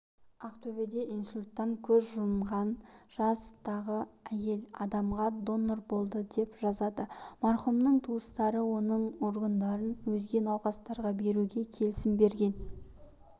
ақтөбеде инсульттан көз жұмған жастағы әйел адамға донор болды деп жазады марқұмның туыстары оның органдарын өзге науқастарға беруге келісімін берген